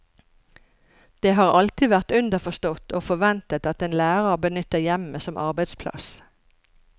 Det har alltid vært underforstått og forventet at en lærer benytter hjemmet som arbeidsplass.